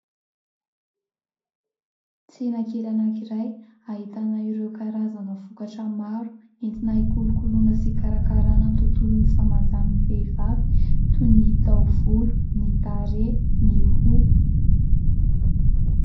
Tsena kely anankiray ahitana ireo karazana vokatra maro entina hikolokoloina sy hikarakarana ny tontolon'ny fahamanjan'ny vehivavy toy ny taovolo, ny tarehy, ny hoho.